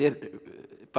bara